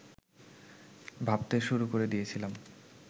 ভাবতে শুরু করে দিয়েছিলাম